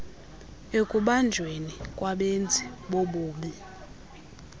ekubanjweni kwabenzi bobubi